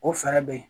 O fɛɛrɛ bɛ ye